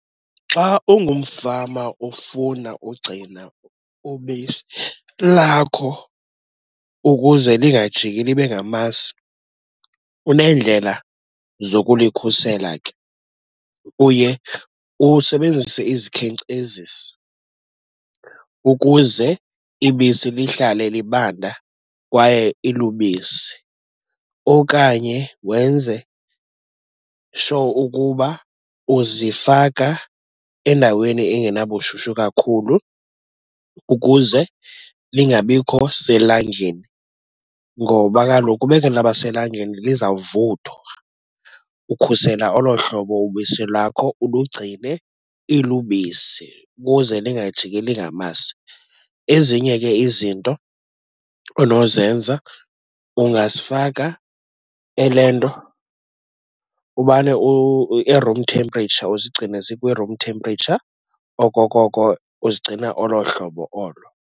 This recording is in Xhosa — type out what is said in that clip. Xa ungumfama ofuna ugcina ubisi lakho ukuze lingajiki libe ngamasi uneendlela zokulikhusela ke. Uye usebenzise izikhenkcezisi ukuze ibisi lihlale libanda kwaye ilubisi, okanye wenze sure ukuba uzifaka endaweni engenabushushu kakhulu ukuze lingabikho selangeni ngoba kaloku ubekhe laba selangeni lizawuthwa. Ukhusela olo hlobo ubisi lakho, ulugcine ilubisi ukuze lingajiki lingamasi. Ezinye ke izinto onozenza ungasifaka elento, umane e-room temperature, uzigcine zikwi-room temperature, okokoko uzigcina olo hlobo olo.